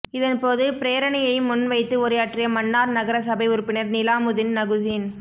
இதன் போது பிரேரணையை முன் வைத்து உரையாற்றிய மன்னார் நகர சபை உறுப்பினர் நிலாமுதீன் நகுசீன்